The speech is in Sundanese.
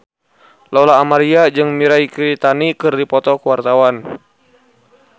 Lola Amaria jeung Mirei Kiritani keur dipoto ku wartawan